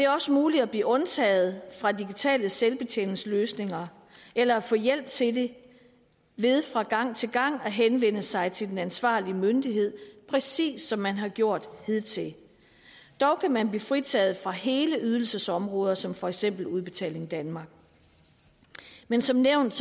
også muligt at blive undtaget fra digitale selvbetjeningsløsninger eller få hjælp til det ved fra gang til gang at henvende sig til den ansvarlige myndighed præcis som man har gjort hidtil dog kan man blive fritaget for hele ydelsesområder som for eksempel udbetaling danmark men som nævnt